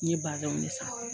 N ye bazɛn de san.